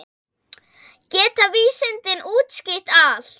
Geta vísindin útskýrt allt?